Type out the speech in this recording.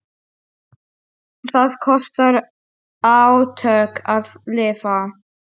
Það kostar átök að lifa.